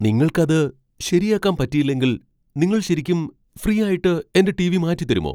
നിങ്ങൾക്കത് ശരിയാക്കാൻ പറ്റിയില്ലെങ്കിൽ നിങ്ങൾ ശരിക്കും ഫ്രീ ആയിട്ട് എന്റെ ടി.വി. മാറ്റിത്തരുമോ ?